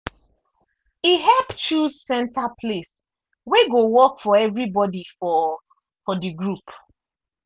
e help choose center place wey go work for everybody for for the group.